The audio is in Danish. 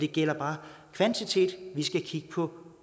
gælder kvantitet vi skal kigge på